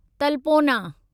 तलपोना